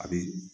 A bi